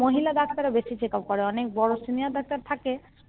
মহিলা Doctor রা বেশি Checkup করে অনেক বড় SeniorDoctor থাকে